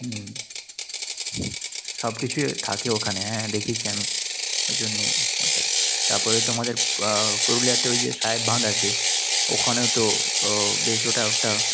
হম সব কিছুই থাকে ওখানে। হ্যাঁ, দেখেছি আমি। এই জন্যই ওটাই। তারপরে তোমাদের পুরুলিয়াতে ওই যে, সাহেব বাঁধ আছে ওখানেও তো বেশ এটা ওটা